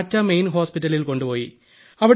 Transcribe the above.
ടാറ്റ മെയിൽ ഹോസ്പിറ്റലിൽ കൊണ്ടുപോയി